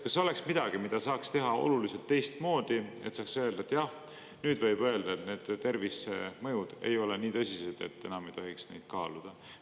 Kas see oleks midagi, mida saaks teha oluliselt teistmoodi, et saaks öelda, et jah nüüd võib öelda, et need tervisemõjud ei ole nii tõsised, et enam ei tohiks neid kaaluda?